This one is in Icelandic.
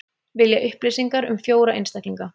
Vilja upplýsingar um fjóra einstaklinga